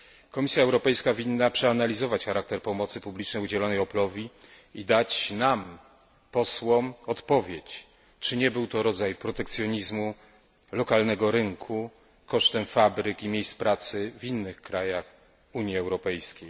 Komisja Europejska winna przeanalizować charakter pomocy publicznej udzielonej Oplowi i dać nam posłom, odpowiedź, czy nie był to rodzaj protekcjonizmu lokalnego rynku kosztem fabryk i miejsc pracy w innych krajach Unii Europejskiej.